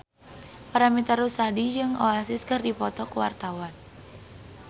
Paramitha Rusady jeung Oasis keur dipoto ku wartawan